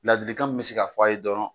Ladilikan min bɛ se ka f'a ye dɔrɔn